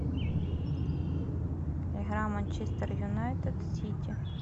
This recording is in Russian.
игра манчестер юнайтед сити